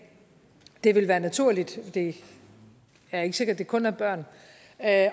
det vil være naturligt det er ikke sikkert at det kun er børn at